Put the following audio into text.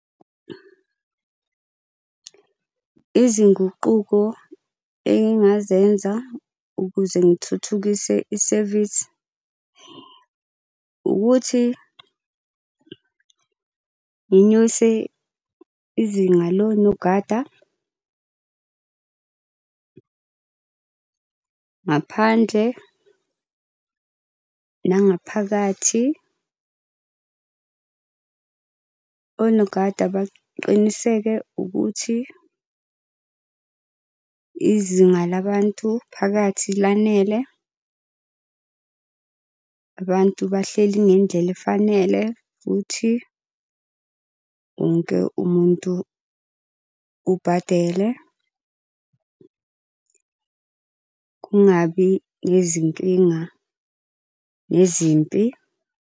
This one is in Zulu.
Izinguquko engingazenza ukuze ngithuthukise isevisi ukuthi nginyuse izinga lonogada ngaphandle nangaphakathi. Onogada baqiniseke ukuthi izinga labantu phakathi lanele, abantu bahleli ngendlela efanele futhi wonke umuntu ubadele. Kungabi nezinkinga nezimpi.